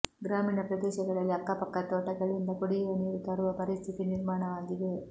ಗ್ರಾಮೀಣ ಪ್ರದೇಶಗಳಲ್ಲಿ ಅಕ್ಕಪಕ್ಕದ ತೋಟಗಳಿಂದ ಕುಡಿಯುವ ನೀರು ತರುವ ಪರಿಸ್ಥಿತಿ ನಿರ್ಮಾಣವಾಗಿದೆ